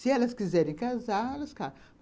Se elas quiserem casar, elas casam.